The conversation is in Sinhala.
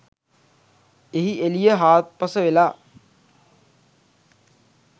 එහි එළිය හාත්පස වෙළා